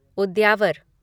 उद्यावर